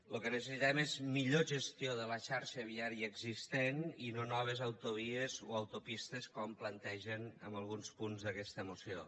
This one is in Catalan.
lo que necessitem és millor gestió de la xarxa viària existent i no noves autovies o autopistes com plantegen en alguns punts d’aquesta moció